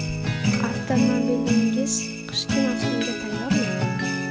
Avtomobilingiz qishki mavsumga tayyormi?.